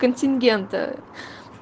контингента